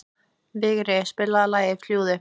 Vigri, spilaðu lagið „Fljúgðu“.